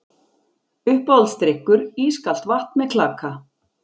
Uppáhaldsdrykkur: ískalt vatn með klaka